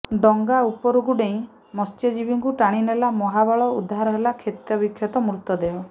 ଡଙ୍ଗା ଉପରକୁ ଡେଇଁ ମତ୍ସ୍ୟଜୀବୀଙ୍କୁ ଟାଣିନେଲା ମହାବଳ ଉଦ୍ଧାର ହେଲା କ୍ଷତବିକ୍ଷତ ମୃତଦେହ